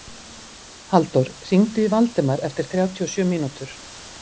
Halldór, hringdu í Valdemar eftir þrjátíu og sjö mínútur.